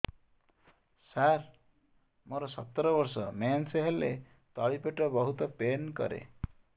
ସାର ମୋର ସତର ବର୍ଷ ମେନ୍ସେସ ହେଲେ ତଳି ପେଟ ବହୁତ ପେନ୍ କରେ